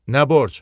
Nə borc?